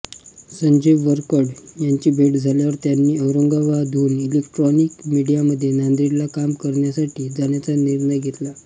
संजय वरकड यांची भेट झाल्यावर त्यांनी औरंगाबादहून इलेक्ट्रॉनिक मीडियामध्ये नांदेडला काम करण्यासाठी जाण्याचा निर्णय घेतला